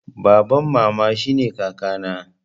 Baban mama shine kaka na